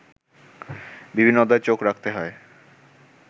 বিভিন্ন অধ্যায়ে চোখ রাখতে হয়